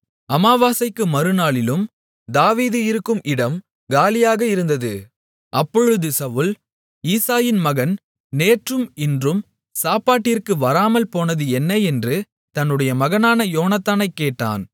அமாவாசைக்கு மறுநாளிலும் தாவீது இருக்கும் இடம் காலியாக இருந்தது அப்பொழுது சவுல் ஈசாயின் மகன் நேற்றும் இன்றும் சாப்பாட்டிற்கு வராமல்போனது என்ன என்று தன்னுடைய மகனான யோனத்தானைக் கேட்டான்